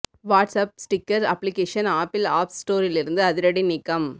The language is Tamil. watts app sticker application Apple apps ஸ்டோரிலிருந்து அதிரடி நீக்கம்